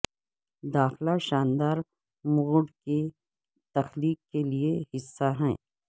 داخلہ شاندار موڈ کی تخلیق کے لئے حصہ ہے